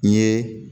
N ye